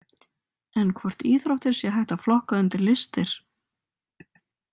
En hvort íþróttir sé hægt að flokka undir listir.